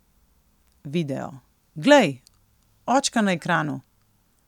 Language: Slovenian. Video: 'Glej, očka na ekranu!